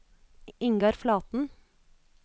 Ingar Flaten